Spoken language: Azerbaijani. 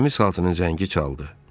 Gəmi saatının zəngi çaldı.